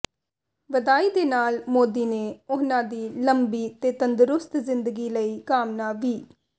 ਵਧਾਈ ਦੇ ਨਾਲ ਮੋਦੀ ਨੇ ਉਨ੍ਹਾਂ ਦੀ ਲੰਬੀ ਤੇ ਤੰਦਰੁਸਤ ਜ਼ਿੰਦਗੀ ਲਈ ਕਾਮਨਾ ਵੀ